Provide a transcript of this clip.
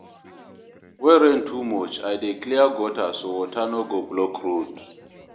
When rain too much, I dey clear gutter so water no go block road.